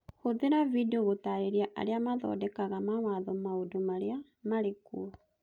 Hũthĩra video gũtaarĩria arĩa mathondekaga mawatho maũndũ marĩa marĩ kuo